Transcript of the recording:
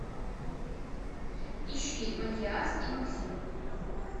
ищи матиас и максим